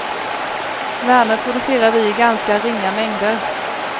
Värme producerar vi i ganska ringa mängder.